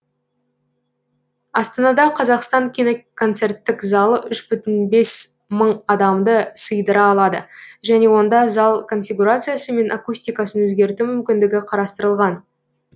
астанада қазақстан киноконцерттік залы үш бүтін бес мың адамды сыйдыра алады және онда зал конфигурациясы мен акустикасын өзгерту мүмкіндігі қарастырылған